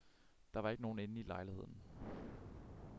der var ikke nogen inde i lejligheden